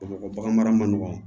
Bamakɔ mara man nɔgɔn